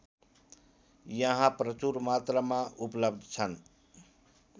यहाँ प्रचुर मात्रामा उपलब्ध छन्